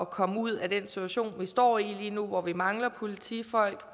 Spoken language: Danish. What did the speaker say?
komme ud af den situation vi står i hvor vi mangler politifolk